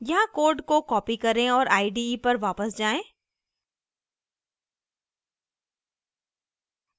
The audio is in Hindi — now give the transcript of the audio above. यहाँ code को copy करें और ide पर वापस जाएँ